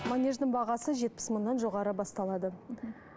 манеждың бағасы жетпіс мыңнан жоғары басталады мхм